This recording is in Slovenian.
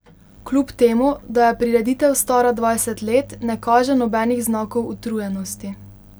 Kljub temu da je prireditev stara dvajset let, ne kaže nobenih znakov utrujenosti.